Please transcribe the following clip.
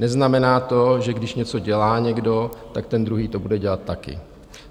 Neznamená to, že když něco dělá někdo, tak ten druhý to bude dělat taky.